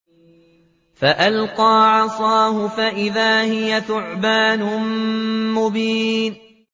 فَأَلْقَىٰ عَصَاهُ فَإِذَا هِيَ ثُعْبَانٌ مُّبِينٌ